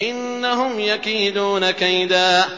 إِنَّهُمْ يَكِيدُونَ كَيْدًا